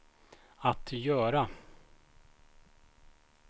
att göra